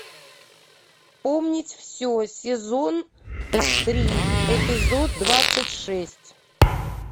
помнить все сезон три эпизод двадцать шесть